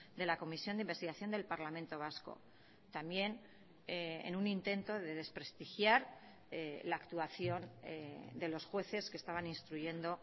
de la comisión de investigación del parlamento vasco también en un intento de desprestigiar la actuación de los jueces que estaban instruyendo